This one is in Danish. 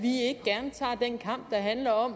handler om